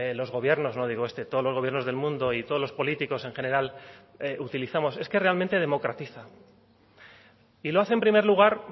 los gobiernos no digo este todos los gobiernos del mundo y todos los políticos en general utilizamos es que realmente democratiza y lo hace en primer lugar